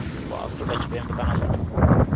wa afrika tshipembe kana muthu